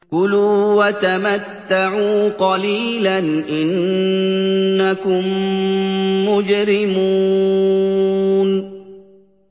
كُلُوا وَتَمَتَّعُوا قَلِيلًا إِنَّكُم مُّجْرِمُونَ